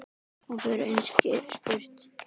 Og hefur einskis spurt.